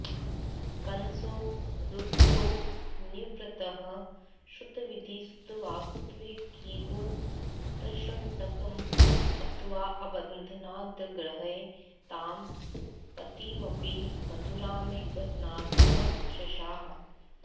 कंसो रुद्धो निवृत्तः श्रुतविधिसुतवाग्देवकीपुत्रषट्कं हत्वाऽबध्नाद्गृहे तां पतिमपि मधुरामेकनाथः शशास